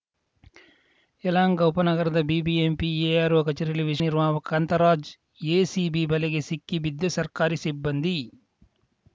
ಯಲಹಂಕ ಉಪನಗರದ BBMP ARO ಕಚೇರಿಯಲ್ಲಿ ವಿಷಯ ನಿರ್ವಾಹಕ ಕಾಂತರಾಜ್‌ ಎಸಿಬಿ ಬಲೆಗೆ ಸಿಕ್ಕ ಬಿದ್ದ ಸರ್ಕಾರಿ ಸಿಬ್ಬಂದಿ